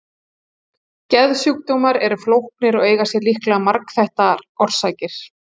geðsjúkdómar eru flóknir og eiga sér líklega margþættar orsakir